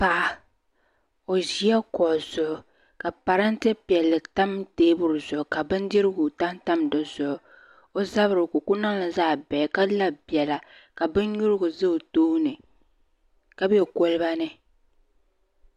Paɣa o zi la kuɣa zuɣu ka paranntɛ piɛlli tam tɛɛbuli zuɣu ka bindirigu pahi tam di zuɣu o zabiri ka o ku niŋli zaɣi bihi ka la bɛla ka bini yurigu za o tooni ka bɛ koliba ni